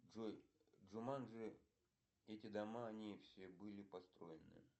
джой джуманджи эти дома они все были построены